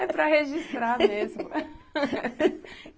É para registrar mesmo.